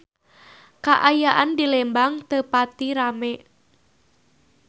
Kaayaan di Lembang teu pati rame